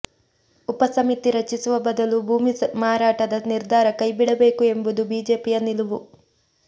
ಉಪ ಸಮಿತಿ ರಚಿಸುವ ಬದಲು ಭೂಮಿ ಮಾರಾಟದ ನಿರ್ಧಾರ ಕೈಬಿಡಬೇಕು ಎಂಬುದು ಬಿಜೆಪಿಯ ನಿಲುವು